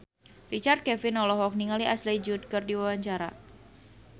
Richard Kevin olohok ningali Ashley Judd keur diwawancara